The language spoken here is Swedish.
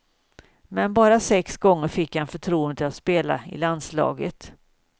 Men bara sex gånger fick han förtroendet att spela i landslaget.